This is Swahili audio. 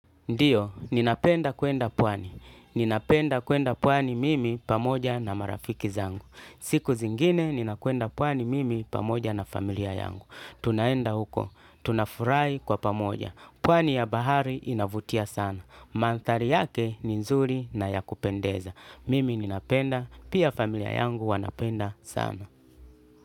Ndiyo, ninapenda kwenda pwani. Ninapenda kwenda pwani mimi pamoja na marafiki zangu. Siku zingine ninakwenda pwani mimi pamoja na familia yangu. Tunaenda huko. Tuna furahi kwa pamoja. Pwani ya bahari inavutia sana. Mantari yake ni nzuri na ya kupendeza. Mimi ninapenda. Pia familia yangu wanapenda sana.